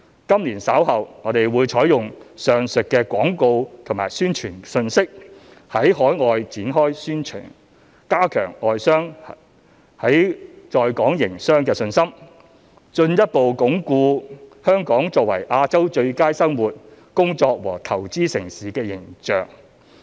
今年稍後，我們會採用上述的廣告和宣傳信息，在海外展開宣傳，加強外商在港營商的信心，進一步鞏固香港作為亞洲最佳生活、工作和投資城市的形象。